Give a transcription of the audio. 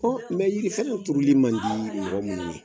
O mɛ yirifɛnrɛ tururli mandi mɔgɔ minnu ye